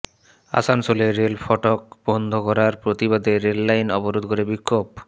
আসানসোলে রেল ফটক বন্ধ করার প্রতিবাদে রেললাইন অবরোধ করে বিক্ষোভ